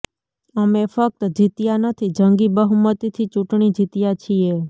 અમે ફક્ત જીત્યા નથી જંગી બહુમતીથી ચૂંટણી જીત્યા છીએ